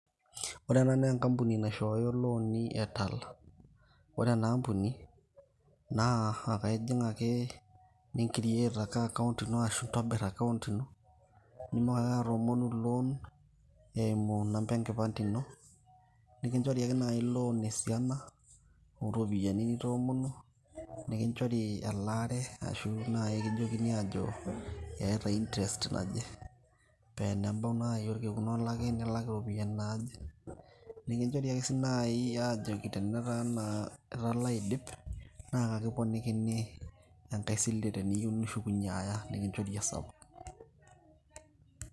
ore ena naa enkabuni naishooyo CS[loan]CS e Tala, ore enaa kambuni naa ijing ake ni CS[create account]CS ino idim ake atoomonu CS[loan]CS eimu CS[number]CS enkipande ino nikinchori CS[loan]CS esiana nitoomonuo nikinchori elaare arashu naaji kijokini aajo keeta CS[interest]CS naje pee enebau naaji orkekun olaki, nilak iropiani naaje nikijokini tenetaa itala aidip nikiponikini enkae sile tenishukunyie aaya nikinchori esapuk.